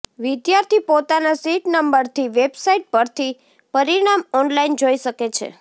વિદ્યાર્થી પોતાના સીટ નંબરથી વેબસાઇટ પરથી પરિણામ ઓનલાઇન જોઇ શકે છે